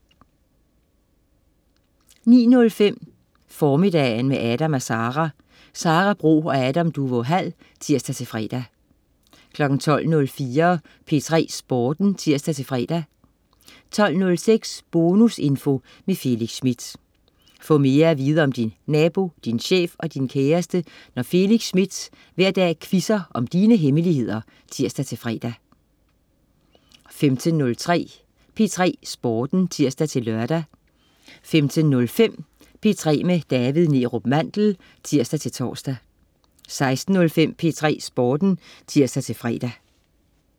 09.05 Formiddagen med Adam & Sara. Sara Bro og Adam Duvå Hall (tirs-fre) 12.04 P3 Sporten (tirs-fre) 12.06 Bonusinfo med Felix Smith. Få mere at vide om din nabo, din chef og din kæreste, når Felix Smith hver dag quizzer om dine hemmeligheder (tirs-fre) 15.03 P3 Sporten (tirs-lør) 15.05 P3 med David Neerup Mandel (tirs-tors) 16.05 P3 Sporten (tirs-fre)